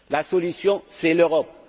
La solution c'est l'Europe.